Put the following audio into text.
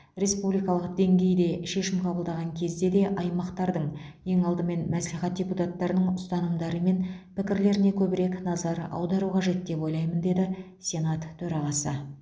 республикалық деңгейде шешім қабылдаған кезде де аймақтардың ең алдымен мәслихат депутаттарының ұстанымдары мен пікірлеріне көбірек назар аудару қажет деп ойлаймын деді сенат төрағасы